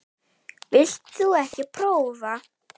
Vilt þú ekki prófa?